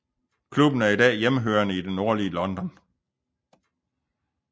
Klubben er i dag hjemhørende i det nordlige London